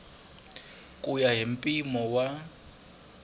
ku ya hi mpimo wa